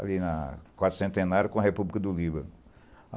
ali na quarta centenário com a República do Líbano.